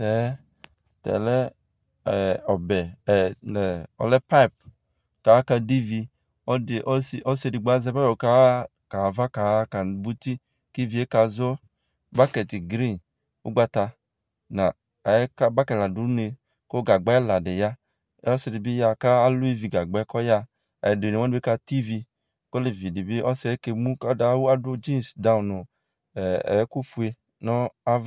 Tɛ lɛ payip kʋ akadʋ ivi ɔsi edigbo azɛ payip kaxa ava kaba ʋti kʋ ivie kaziɔ bakɛt grin ʋgbata layɛ aba kadʋ une kʋ gagba ɛla di ya kʋ ɔsidibi yaxa kʋ alʋ ivigagbɛ kʋ ɔyaxa ɛdini wani be katɛ ivi kʋ olevi dibi ɔsi kemʋ kʋ adʋ tsins dawno nʋ ɛkʋ fue nʋ ava